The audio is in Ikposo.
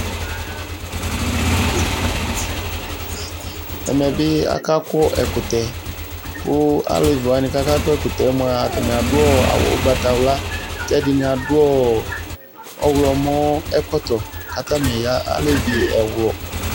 Ɛmɛ bɩ akakɔ ɛkʋtɛ, kʋ alevɩ wanɩ kʋ akakɔ ɛkʋtɛ mʋa atanɩ adʋ awʋ ʋgbatawla, kʋ ɛdɩnɩ adʋ ɔwlɔmɔ ɛkɔtɔ kʋ atanɩ ya, alevɩ ɛwlʋ